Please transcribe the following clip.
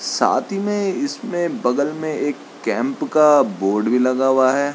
साथ ही में इसमें बगल में एक कैंप का बोर्ड भी लगा हुआ है।